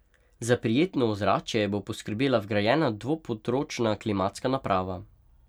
Za prijetno ozračje bo poskrbela vgrajena dvopodročna klimatska naprava.